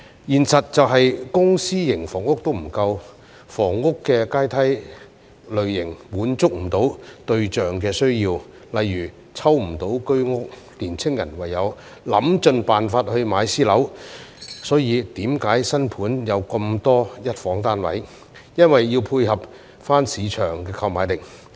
現實是，公私營房屋均不足夠，房屋階梯的類型滿足不到對象的需要，例如抽不到居屋，年青人唯有想盡辦法買私樓，所以為何新盤有這麼多一房單位，因為要配合市場的購買力。